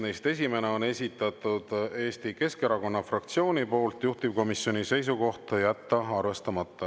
Neist esimese on esitanud Eesti Keskerakonna fraktsioon, juhtivkomisjoni seisukoht: jätta arvestamata.